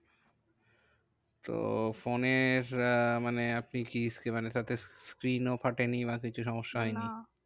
তো ফোনের আহ মানে আপনি কি screen ও ফাটেনি বা কিছু সমস্যা হয়নি? না